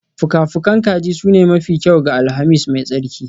Fuka-fukan kaji sune mafi kyau ga Alhamis mai tsarki